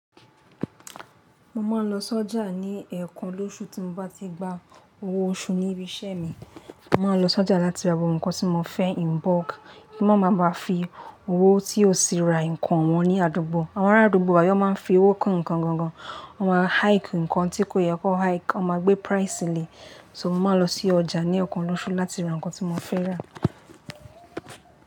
Mo ma n lo sọ́jà ní ẹẹkan lóṣù, tí mo bá ti gba owó oṣù níbi iṣẹ́ mi. Mo ma n lọ sọ́jà láti ra gbogbo nǹkan tí mo fẹ́ in bulk, kí mo má ba fi owó tí ò sí ra nǹkan wọn ní àdúgbò. Àwọn ará àdúgbò wa yì, wón ma n fi owó kun ǹkan won gan, wọ́n ma hike ǹkan tí kò yẹ kó hike, wọ́n ma gbé price lẹ̀. So mo ma n lọ sí ọjà ní ọ̀kan lọ́ṣù láti ra nǹkan tí mo fẹ́ rà.